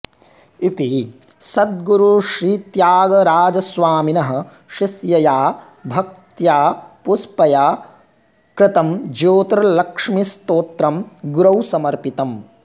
इति सद्गुरुश्रीत्यागराजस्वामिनः शिष्यया भक्तया पुष्पया कृतं ज्योतिर्लक्ष्मीस्तोत्रं गुरौ समर्पितम्